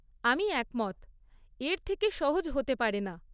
আমি একমত! এর থেকে সহজ হতে পারে না।